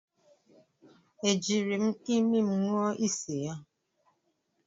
E jiri m imi m ṅụọ isi ya?